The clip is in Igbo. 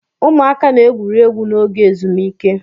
Ụmụaka na-egwuri egwu n'oge ezumike.